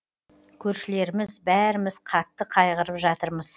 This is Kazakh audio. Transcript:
көршілеріміз бәріміз қатты қайғырып жатырмыз